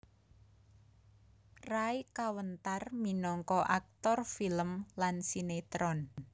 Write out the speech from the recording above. Ray kawentar minangka aktor film lan sinétron